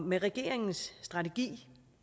med regeringens strategi